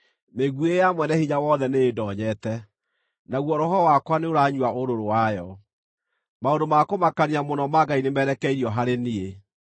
Mĩguĩ ya Mwene-Hinya-Wothe nĩĩndoonyete, naguo roho wakwa nĩũranyua ũrũrũ wayo; maũndũ ma kũmakania mũno ma Ngai nĩmerekeirio harĩ niĩ.